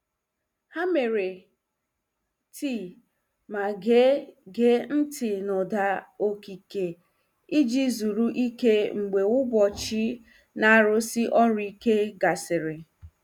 Ha mere tii ma gee gee ntị n'ụda okike iji zuru ike mgbe ụbọchị na-arụsi ọrụ ike gasịrị.